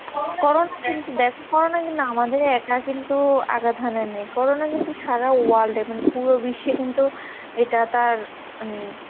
corona কিন্তু দেখা corona কিন্তু আমাদের একা কিন্তু আঘাত হানে নেই করোনা কিন্তু সারা world এ মানে পুরো বিশ্বে কিন্তু এটা তাঁর মানে ,